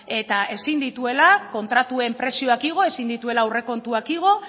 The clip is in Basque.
eta ezin dituela kontratuen prezioak igo ezin dituela aurrekontuak igo